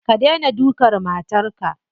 Ka dena dukan matarka.